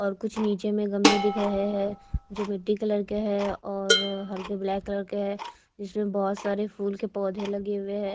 और कुछ नीचे में गमले दिख रहे हैं जो मिट्टी कलर के हैं और हल्के ब्लैक कलर के हैं जिसमें बहुत सारे फूल के पौधे लगे हुए हैं।